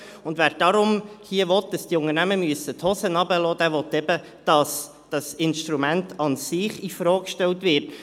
Und wer darum hier will, dass diese Unternehmen die Hosen runterlassen müssen, will eben, dass das Instrument an sich in Frage gestellt wird.